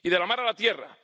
Y de la mar a la tierra.